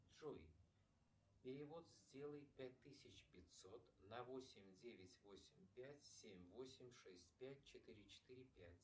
джой перевод сделай пять тысяч пятьсот на восемь девять восемь пять семь восемь шесть пять четыре четыре пять